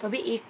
তবে এর